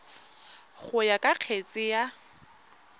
go ya ka kgetse ka